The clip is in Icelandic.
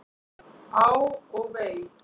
Á og vei!